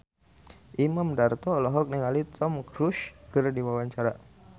Imam Darto olohok ningali Tom Cruise keur diwawancara